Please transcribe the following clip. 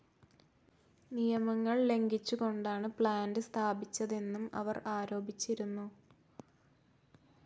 നിയമങ്ങൾ ലംഘിച്ചുകൊണ്ടാണ് പ്ലാന്റ്‌ സ്ഥാപിച്ചതെന്നും അവർ ആരോപിച്ചിരുന്നു.